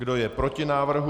Kdo je proti návrhu?